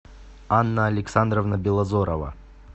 анна александровна белозорова